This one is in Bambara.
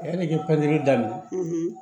Yanni i ka pɛntiri daminɛ